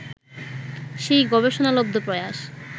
সেই গবেষণালব্ধ প্রয়াস